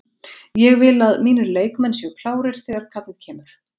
Ég vil að mínir leikmenn séu klárir þegar kallið kemur.